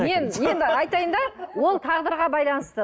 мен енді айтайын да ол тағдырға байланысты